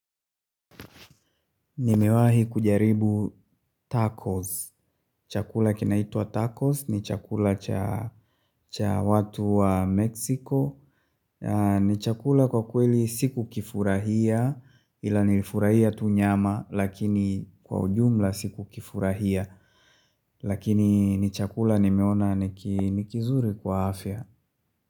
Nimewahi kujaribu tacos. Chakula kinaitwa tacos ni chakula cha cha watu wa Mexico. Ni chakula kwa kweli sikukifurahia ila nilifurahia tu nyama lakini kwa ujumla sikukifurahia. Lakini ni chakula nimeona niki nikizuri kwa afya.